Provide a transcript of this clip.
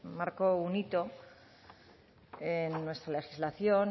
marcó un hito en nuestra legislación